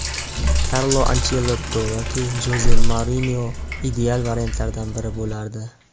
Karlo Anchelotti yoki Joze Mourinyo ideal variantlardan biri bo‘lardi”.